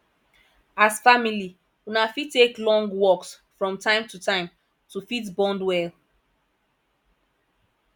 as family una fit take long walks from time to time to fit bond well